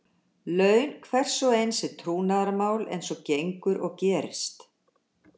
Laun hvers og eins er trúnaðarmál eins og gengur og gerist.